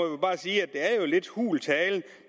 jeg er lidt hul tale